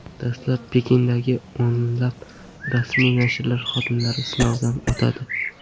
Dastlab Pekindagi o‘nlab rasmiy nashrlar xodimlari sinovdan o‘tadi.